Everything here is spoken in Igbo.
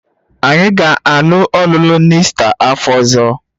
Anyị ga-alụ ọlụlụ n'Ista afọ ọzọ